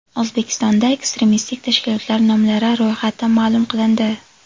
O‘zbekistonda ekstremistik tashkilotlar nomlari ro‘yxati ma’lum qilindi.